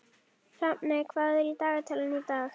Hrafney, hvað er í dagatalinu í dag?